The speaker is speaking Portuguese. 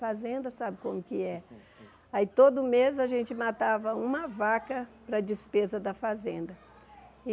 Fazenda sabe como que é. Aí todo mês a gente matava uma vaca para a despesa da fazenda.